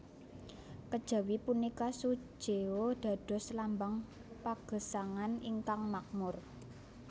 Kejawi punika sujeo dados lambang pagesangan ingkang makmur